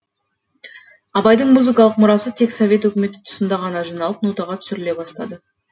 абайдың музыкалық мұрасы тек совет өкіметі тұсында ғана жиналып нотаға түсіріле бастады